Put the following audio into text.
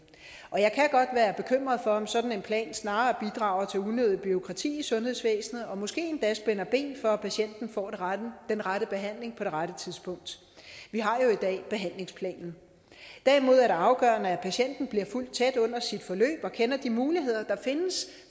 og jeg kan godt være bekymret for om en sådan plan snarere bidrager til unødigt bureaukrati i sundhedsvæsenet og måske endda spænder ben for at patienten får den rette behandling på det rette tidspunkt vi har jo i dag behandlingsplanen derimod er det afgørende at patienten bliver fulgt tæt under sit forløb og kender de muligheder der findes